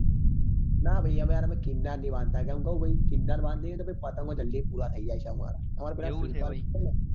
નાં ભાઈ અમે યાર કીન્નાર નહિ બંધાતા કે કે કીન્ન્નાર બાંધીએ તો પછી પતંગો જલ્દી પુરા થઇ જાય છે અમારા અમાર પેલા સુરપાળ ભાઈ છે